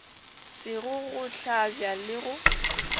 sego go hlabja le go